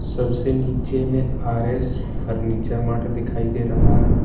सबसे नीचे में आर एस फर्नीचर मार्ट दिखाई दे रहा है।